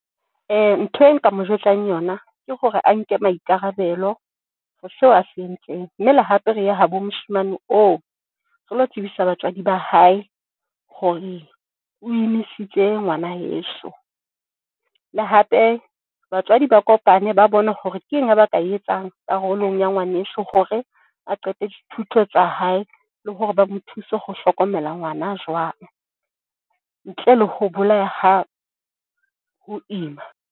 Ntho e nka mo jwetsang, yona ke hore a nke maikarabelo ho seo a se entseng. Mme le hape re ya habo moshemane oo re lo tsebisa batswadi ba hae hore o emisitse ngwana heso. Le hape batswadi ba kopane ba bone hore ke eng ba ka e etsang karolong ya ngwaneso hore a qeta dithuto tsa hae le hore ba mo thuse ho hlokomela ngwana jwang ntle le ho bolaya ha ho ima.